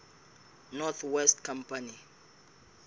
north west company